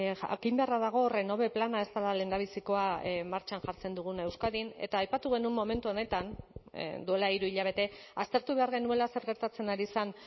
jakin beharra dago renove plana ez dela lehendabizikoa martxan jartzen duguna euskadin eta aipatu genuen momentu honetan duela hiru hilabete aztertu behar genuela zer gertatzen ari zen